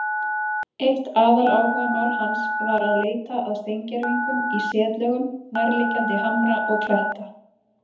Eitt aðaláhugamál hans var að leita að steingervingum í setlögum nærliggjandi hamra og kletta.